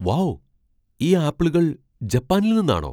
Wow ! ഈ ആപ്പിളുകൾ ജപ്പാനിൽ നിന്നാണോ?